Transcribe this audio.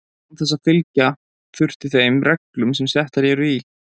án þess að fylgja þurfi þeim reglum sem settar eru í